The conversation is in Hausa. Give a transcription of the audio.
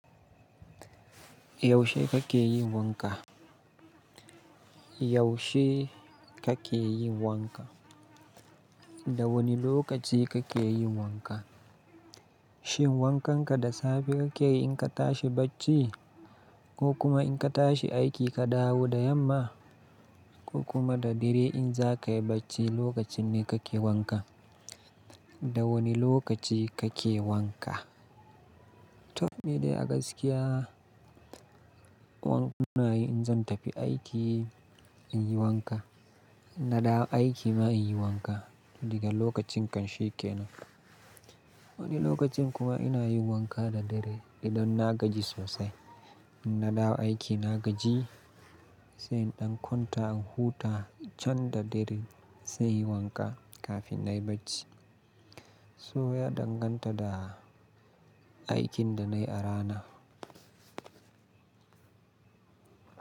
Yaushe kake yin wanka? Yaushe kake yi wanka? Da wani lokaci kake yin wanka? Shin wankanka da safe ka ke yi in ka tashi bacci ko kuma in ka tashi aiki ka dawo da yamma ko kuma da dare in za ka yi bacci lokacin ne kake wanka? Da wane lokaci kake wanka? To, ni dai a gaskiya, wan ina yi in zan tafi aiki, in yi wanka. Na dawo aiki ma in yi wanka. Diga lokacin kan shi kenan. Wani lokacin kuma ina yin wanka da dare idan na gaji sosai. In na dawo aiki na gaji, sai in ɗan kwanta, in huta can da dare sai in yi wanka kafin na yi bacci. So ya danganta da aikin da na yi a rana.